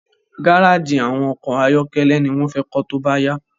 Garaji awọn ọkọ ayọkẹlẹ ni wón fé kó tóbá yá